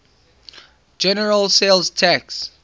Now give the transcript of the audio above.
general sales tax